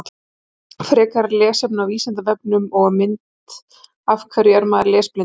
Frekara lesefni á Vísindavefnum og mynd Af hverju er maður lesblindur?